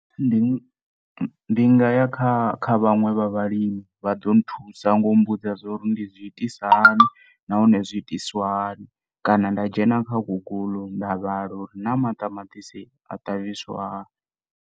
Ndi nga ya kha vhaṅwe vha vhalimi vha ḓo thusa ngau mbudza zwauri ndi zwiitisa hani nahone zwiitiswa hani kana nda dzhena kha google nda vhala uri na maṱamatisi a ṱavhiswa hani.